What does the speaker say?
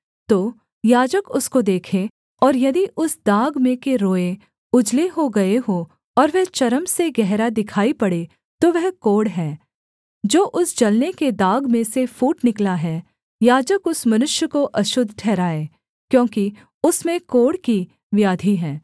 तो याजक उसको देखे और यदि उस दाग में के रोएँ उजले हो गए हों और वह चर्म से गहरा दिखाई पड़े तो वह कोढ़ है जो उस जलने के दाग में से फूट निकला है याजक उस मनुष्य को अशुद्ध ठहराए क्योंकि उसमें कोढ़ की व्याधि है